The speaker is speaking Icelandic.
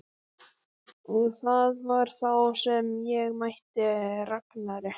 Og það var þá sem ég mætti Ragnari.